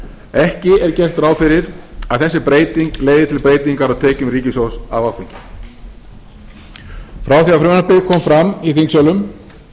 ekki er gert ráð fyrir að þessi breyting leiði til breytingar á tekjum ríkissjóðs af áfengi frá því að frumvarpið kom fram í þingsölum